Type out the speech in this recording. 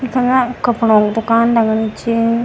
इख ना कपड़ों क दुकान लगणी च।